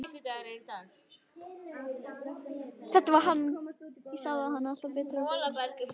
Þetta var hann, ég sá það alltaf betur og betur.